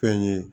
Fɛn ye